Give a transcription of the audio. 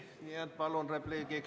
Nii et palun, repliik!